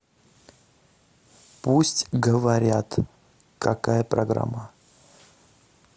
пусть говорят какая программа